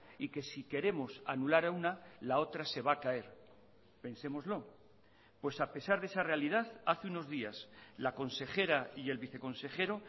y que si queremos anular a una la otra se va a caer pensémoslo pues a pesar de esa realidad hace unos días la consejera y el viceconsejero